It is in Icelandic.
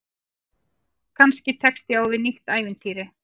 Kannski tekst ég á við nýtt ævintýri.